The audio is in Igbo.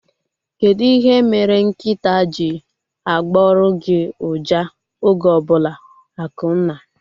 Kedụ ihe mere nkịtaa ji agboru gị uja oge ọbụla? Akunna